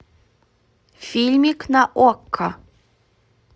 фильмик на окко